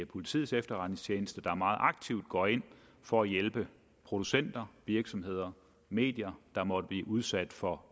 politiets efterretningstjeneste der meget aktivt går ind for at hjælpe producenter virksomheder og medier der måtte blive udsat for